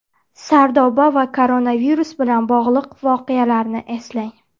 Sardoba va koronavirus bilan bog‘liq voqealarni eslang.